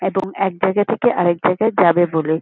এবং একজায়গা থেকে আরেক জায়গায় যাবে বলে।